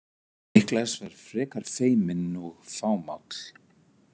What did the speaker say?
Niklas var frekar feiminn og fámáll.